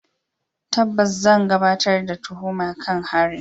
Tabbas, zan gabatar da tuhuma kan harin.